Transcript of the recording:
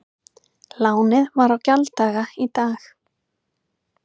Lánið var á gjalddaga í dag